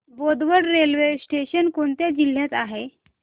Bodwad railway station कोणत्या जिल्ह्यात आहे